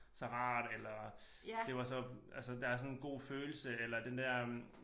Så rart eller det var så altså der er sådan en god følelse eller den der øh